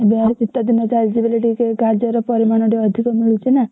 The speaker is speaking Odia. ଏବେହାରି ଶୀତଦିନ ଚାଲିଛି ବୋଲି ଗାଜର ପରିମାଣ ଟିକେ ଅଧିକ ମିଳୁଛି ନା!